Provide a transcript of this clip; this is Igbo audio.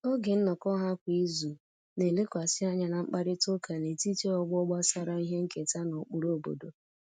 Oge nnọkọ ha kwa izu na-elekwasị anya na mkparịta ụka n'etiti ọgbọ gbasara ihe nketa na ụkpụrụ obodo